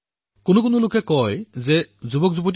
কিছুমান লোকে কয় যে যুৱসমাজৰ ধৈৰ্য নাই